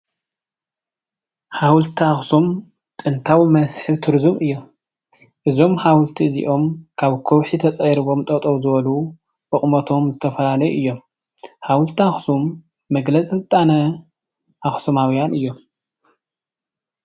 ሓወልቲ ኣክሱም ጥንታዊ መስሕብ ቱሪዝም እዩ፡፡ እዞም ሓወልቲ እዚኦም ካብ ከውሒ ተፀሪቦም ጠጠው ዝበሉ ብቅሞቶም ዝተፈላለዩ እዮም፡፡ ሓወልቲ ኣክሱም መግለፂ ስልጣነ ኣክሱማውያን እዮም፡፡